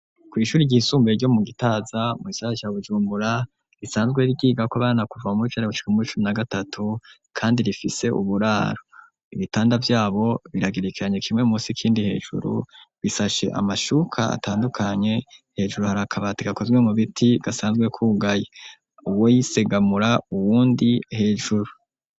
kw'ishure ryisumbuye ryo mu gitaza mugisagara ca bujumbura risanzwe ryigako abana kuva muwicenda gushika muwicumi na gatatu kandi rifise uburaro ibitanda vyabo biragerekeranye kimwe munsi ikindi hejuru bisashe amashuka atandukanye hejuru hari akabati gakozwe mu biti gasanzwe kugaye uwuyisegamura uwundi hejuru.